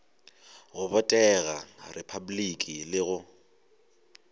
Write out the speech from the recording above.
go botegela repabliki le go